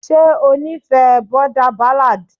ṣe ó nífẹ̀ẹ́ boarder ballad.